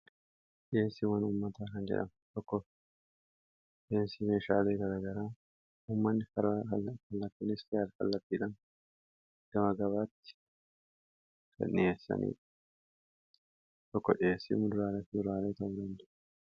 dhiheesi waan ummataa kan jedham okko dheensii meeshaalee garagaraa huumanni fara kallaftanis kayyaal kallatiidan gamagabaatti tokko dhiyeessi duraalet duraaleeta'u dandu'